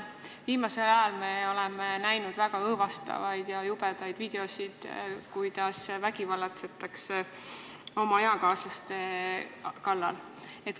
Viimasel ajal oleme näinud väga õõvastavaid ja jubedaid videoid, kuidas vägivallatsetakse oma eakaaslaste kallal.